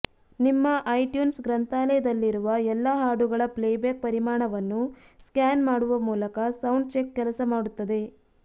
ನಿಮ್ಮ ಐಟ್ಯೂನ್ಸ್ ಗ್ರಂಥಾಲಯದಲ್ಲಿರುವ ಎಲ್ಲಾ ಹಾಡುಗಳ ಪ್ಲೇಬ್ಯಾಕ್ ಪರಿಮಾಣವನ್ನು ಸ್ಕ್ಯಾನ್ ಮಾಡುವ ಮೂಲಕ ಸೌಂಡ್ ಚೆಕ್ ಕೆಲಸ ಮಾಡುತ್ತದೆ